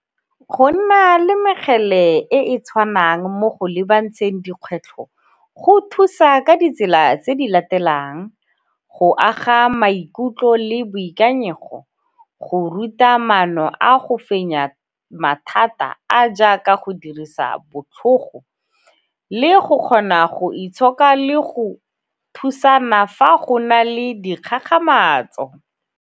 Go nna le mekgele e e tshwanang mo go lebantsheng dikgwetlho go thusa ka ditsela tse di latelang, go aga maikutlo le boikanyego, go ruta maano a go fenya mathata a a jaaka go dirisa botlhogo le go kgona go itshoka le go thusana fa go na le dikgakgamatso.